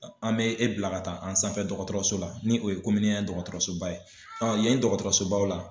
An bɛ e bila ka taa an sanfɛ dɔgɔtɔrɔso la ni o ye dɔgɔtɔrɔsoba ye yen dɔgɔtɔrɔsobaw la